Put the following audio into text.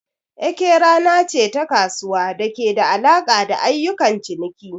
Eke rana ce ta kasuwa da ke da alaƙa da ayyukan ciniki.